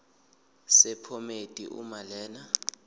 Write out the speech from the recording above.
sephomedi uma lena